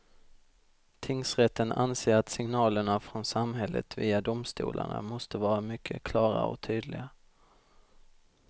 Tingsrätten anser att signalerna från samhället via domstolarna måste vara mycket klara och tydliga.